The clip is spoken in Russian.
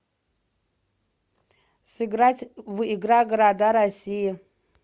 сыграть в игра города россии